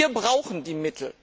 Wir brauchen die Mittel!